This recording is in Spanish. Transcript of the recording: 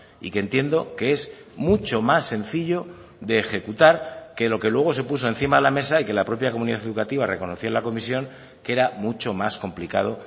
y que entiendo que es mucho más sencillo de ejecutar que lo que luego se puso encima de la mesa y que la propia comunidad educativa reconoció en la comisión que era mucho más complicado